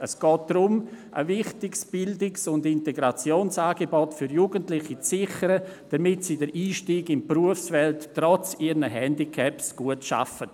Es geht darum, ein wichtiges Bildungs- und Integrationsangebot für Jugendliche zu sichern, damit sie den Einstieg in die Berufswelt trotz ihrem Handicap schaffen.